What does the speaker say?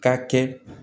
Ka kɛ